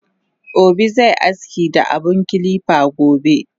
Obi ze aski da abun kilipa gobe